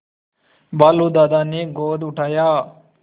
भालू दादा ने गोद उठाया